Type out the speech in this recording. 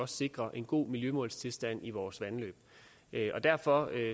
sikrer en god miljøtilstand i vores vandløb derfor